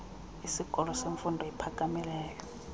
isikolo semfundo ephakamileyo